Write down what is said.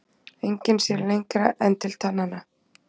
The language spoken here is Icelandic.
Enginn sér lengra en til tannanna.